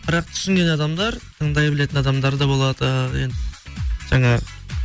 бірақ түсінген адамдар тыңдай білетін адамдар да болады енді жаңағы